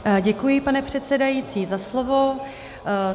Děkuji, pane předsedající, za slovo.